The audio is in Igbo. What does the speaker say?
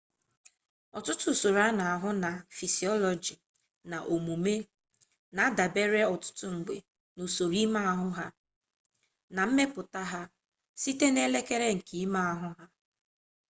ọtụtụ usoro a na-ahụ na fisiọlọji na omume na-adabere ọtụtụ mgbe n'usoro ime ahụ na mmepụta ha site n'elekere nke ime ahụ